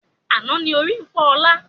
Àná ni ó rí ń fọ ọ̀la.